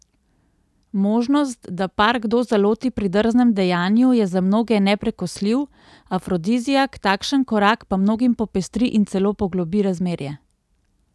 Možnost, da par kdo zaloti pri drznem dejanju, je za mnoge neprekosljiv afrodiziak, takšen korak pa mnogim popestri in celo poglobi razmerje.